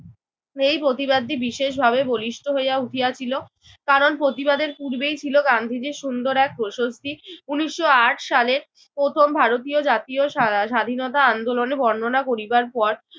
এই প্রতিবাদটি বিশেষভাবে বলিষ্ঠ হওয়া উঠিয়াছিল। কারণ প্রতিবাদের পূর্বেই ছিল গান্ধীজির সুন্দর এক প্রশস্তি। উনিশশো আট সালের প্রথম ভারতীয় জাতীয় সারা স্বাধীনতা আন্দোলনের বর্ণনা করিবার পর